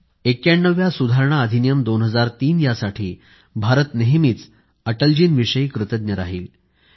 91व्या सुधारणा अधिनियम 2003 यासाठी भारत नेहमीच अटलजींविषयी कृतज्ञ राहील